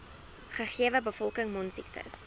gegewe bevolking mondsiektes